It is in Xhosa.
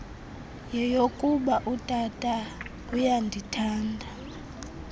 yeyokuba utata uyandithanda